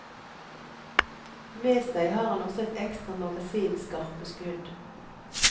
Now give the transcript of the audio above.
Med seg har han også et ekstra magasin skarpe skudd.